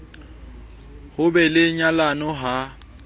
ho be le nyalano ha